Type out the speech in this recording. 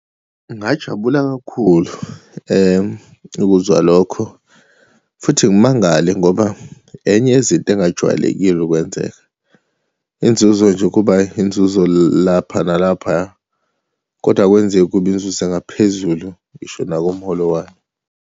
Ngajabula kakhulu ukuzwa lokho, futhi ngimangale ngoba enye yezinto engajwayelekile ukwenzeka. Inzuzo nje kuba inzuzo lapha nalaphaya, kodwa akwenzeki kube inzuzo engaphezulu, ngisho nakumholo wami.